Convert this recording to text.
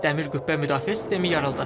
Dəmir Qübbə müdafiə sistemi yarıldı.